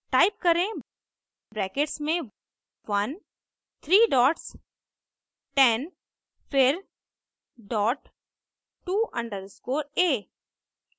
type करें brackets में 1 three dots 10 फिर डॉट टू अंडरस्कोर a